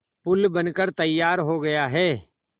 पुल बनकर तैयार हो गया है